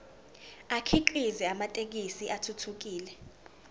akhiqize amathekisthi athuthukile